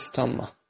Heç utanma.